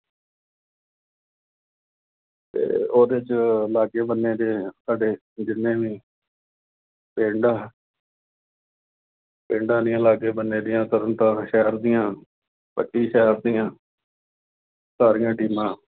ਤੇ ਉਹਦੇ ਚ ਲਾਗੇ-ਬੰਨ੍ਹੇ ਦੇ ਸਾਡੇ ਜਿੰਨੇ ਵੀ ਪਿੰਡ ਆ ਪਿੰਡਾਂ ਦੀਆਂ ਲਾਗੇ-ਬੰਨ੍ਹੇ ਦੀਆਂ, ਤਰਨ ਤਾਰਨ ਸ਼ਹਿਰ ਦੀਆਂ, ਸਾਹਿਬ ਦੀਆਂ ਸਾਹੀਆਂ teams